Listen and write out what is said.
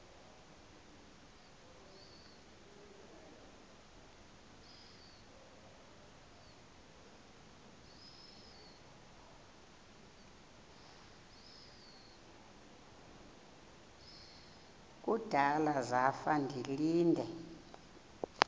kudala zafa ndilinde